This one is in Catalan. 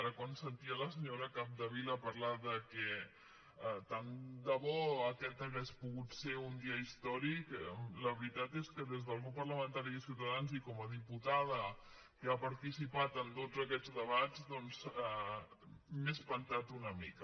ara quan sentia la senyora capdevila parlar que tant de bo aquest hagués pogut ser un dia històric la veritat és que des del grup parlamentari de ciutadans i com a diputada que ha participat en tots aquests debats doncs m’he espantat una mica